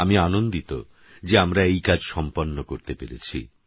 আমি আনন্দিত যে আমরা এই কাজ সম্পন্ন করতে পেরেছি